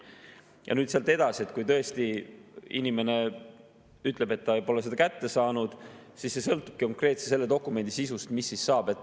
Ja nüüd sealt edasi, kui tõesti inimene ütleb, et ta pole seda kätte saanud, siis sõltub konkreetse dokumendi sisust, mis saab.